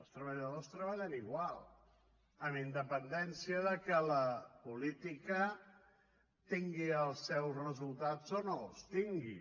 els treballadors treballen igual amb independència que la política tingui els seus resultats o no els tingui